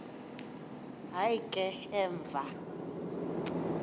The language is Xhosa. hayi ke emva